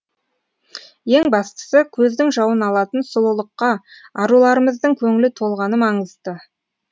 ең бастысы көздің жауын алатын сұлулыққа аруларымыздың көңілі толғаны маңызды